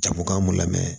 Jago k'an mu lamɛn